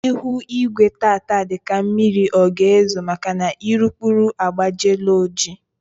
Ihu igwe tata dị ka mmiri ọ ga ezo maka na urukpuru agbajiela oji